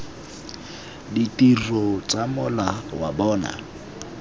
ditiro tsa mola wa bona